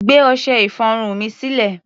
Gbé ọṣẹ-ìfọrun mi sílẹ̀!